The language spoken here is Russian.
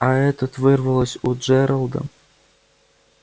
а этот вырвалось у джералда